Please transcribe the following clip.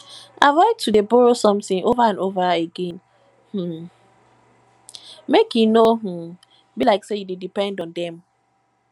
avoid to de borrow something over and over again um make e no um be like say you de depend on dem